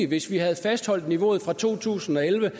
hvis vi havde fastholdt niveauet fra to tusind og elleve